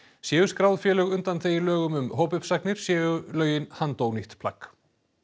séu skráð félög undanþegin lögum um hópuppsagnir séu lögin handónýtt plagg